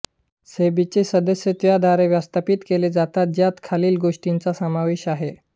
सेबीचे सदस्य त्याद्वारे व्यवस्थापित केले जातात ज्यात खालील गोष्टींचा समावेश आहे